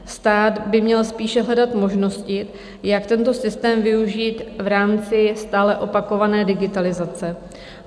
Stát by měl spíše hledat možnosti, jak tento systém využít v rámci stále opakované digitalizace.